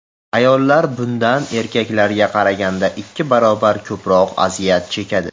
Ayollar bundan erkaklarga qaraganda ikki barobar ko‘proq aziyat chekadi.